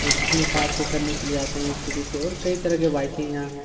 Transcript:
और अपने कार को करने के लिए आते है स्कुटी और की तरह की बाइके यहाँ हैं।